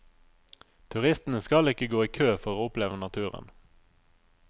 Turistene skal ikke gå i kø for å oppleve naturen.